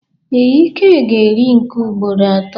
Ee, Ike ga eri nke ugboro ato.